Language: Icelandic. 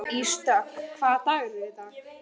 Ísdögg, hvaða dagur er í dag?